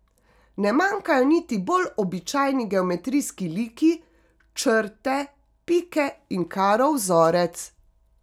Ne manjkajo niti bolj običajni geometrijski liki, črte, pike in karo vzorec.